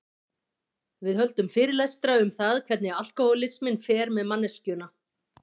Við höldum fyrirlestra um það hvernig alkohólisminn fer með manneskjuna.